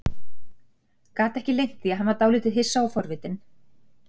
Gat ekki leynt því að hann var dálítið hissa og forvitinn.